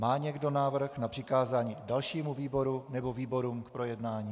Má někdo návrh na přikázání dalšímu výboru nebo výborům k projednání?